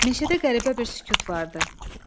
Meşədə qəribə bir sükut vardı.